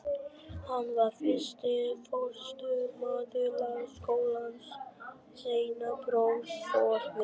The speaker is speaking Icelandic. Hann var fyrsti forstöðumaður Lagaskólans, seinna prófessor við